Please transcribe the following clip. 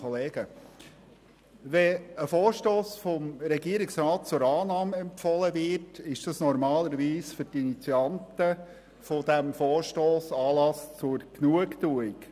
Wenn ein Vorstoss vom Regierungsrat zur Annahme empfohlen wird, ist dies normalerweise für dessen Initianten Anlass zur Genugtuung.